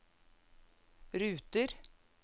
ruter